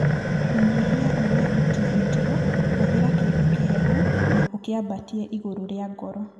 Kũnyihia ũrĩa ũtihĩtio, hũthĩra kĩndũ kĩhehu na ũkĩambatie igũrũ rĩa ngoro.